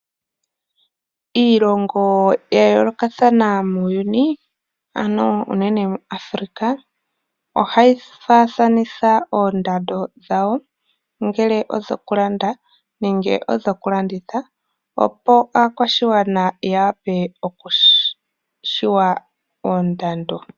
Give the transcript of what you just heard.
Iilongo ya yoolokathana muuyuni ano uunene muAfrcica ohayi faathanitha oondando dhawo ngele odho ku landa nenge dhoku landitha, opo aakwashigwana ya wape oku shiwa oondando.